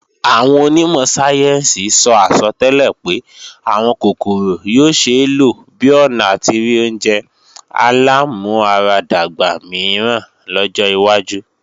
Àwọn onímọ̀ sáyẹ́ǹsì sọ àsọtẹ́lẹ̀ pé àwọn kòkòrò yóò ṣeé lò bi ọ̀nà àti rí oúnjẹ alámúaradàgbà míràn lọ́jọ́ wájú